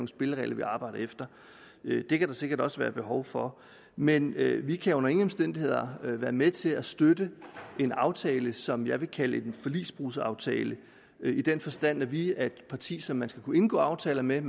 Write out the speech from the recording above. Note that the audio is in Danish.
spilleregler vi arbejder efter det kan der sikkert også være behov for men vi vi kan under ingen omstændigheder være med til at støtte en aftale som jeg vil kalde en forligsbrudsaftale i den forstand at vi er et parti som man skal kunne indgå aftaler med